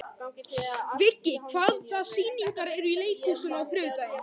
Viggi, hvaða sýningar eru í leikhúsinu á þriðjudaginn?